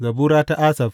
Zabura ta Asaf.